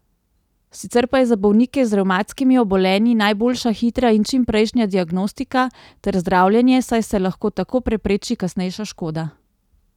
Sicer pa je za bolnike z revmatskimi obolenji najboljša hitra in čimprejšnja diagnostika ter zdravljenje, saj se lahko tako prepreči kasnejša škoda.